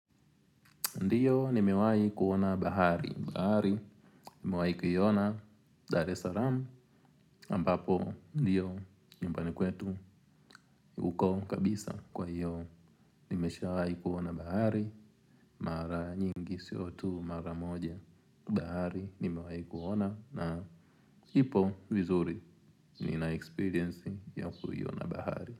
Ndiyo nimewai kuona bahari. Bahari nimewai kuiona Dar es Salaam ambapo ndiyo nyumbani kwetu uko kabisa kwa hiyo. Nimesha wai kuona bahari. Mara nyingi sio tu mara moja. Bahari nimewai kuona na ipo vizuri ni na experience ya kuiona bahari.